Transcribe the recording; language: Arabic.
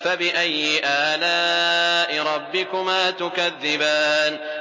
فَبِأَيِّ آلَاءِ رَبِّكُمَا تُكَذِّبَانِ